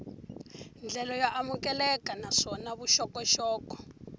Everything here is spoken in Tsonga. ndlela yo amukeleka naswona vuxokoxoko